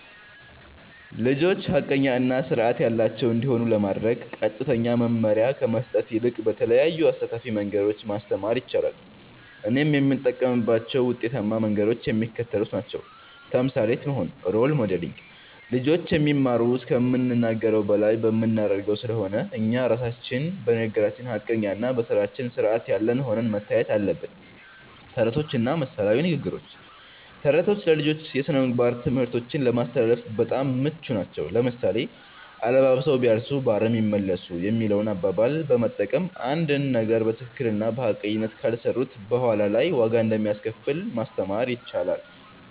ልጆች ሐቀኛ እና ሥርዓት ያላቸው እንዲሆኑ ለማድረግ ቀጥተኛ መመሪያ ከመስጠት ይልቅ በተለያዩ አሳታፊ መንገዶች ማስተማር ይቻላል። እኔም የምጠቀምባቸው ውጤታማ መንገዶች የሚከተሉት ናቸው። ተምሳሌት መሆን (Role Modeling)፦ ልጆች የሚማሩት ከምንናገረው በላይ በምናደርገው ስለሆነ፣ እኛ ራሳችን በንግግራችን ሐቀኛና በሥራችን ሥርዓት ያለን ሆነን መታየት አለብን። ተረቶችና ምሳሌያዊ ንግግሮች፦ ተረቶች ለልጆች የሥነ-ምግባር ትምህርቶችን ለማስተላለፍ በጣም ምቹ ናቸው። ለምሳሌ፣ "አለባብሰው ቢያርሱ በአረም ይመለሱ" የሚለውን አባባል በመጠቀም፣ አንድን ነገር በትክክልና በሐቀኝነት ካልሰሩት በኋላ ላይ ዋጋ እንደሚያስከፍል ማስተማር ይቻላል።